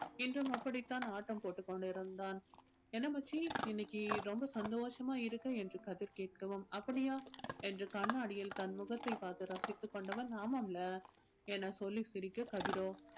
இன்றும் அப்படித்தான் ஆட்டம் போட்டுக் கொண்டிருந்தான் என்ன மச்சி இன்னைக்கு ரொம்ப சந்தோஷமா இருக்க என்று கதிர் கேட்கவும் அப்படியா என்று கண்ணாடியில் தன் முகத்தை பார்த்து ரசித்துக் கொண்டவன் ஆமாம்ல்ல என சொல்லி சிரிக்க கதிரோ